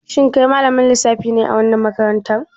Shin kai malamin lissafi ne a wannan makarantar?